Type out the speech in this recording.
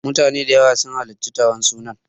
Mutane da yawa sun halarci taron sunan.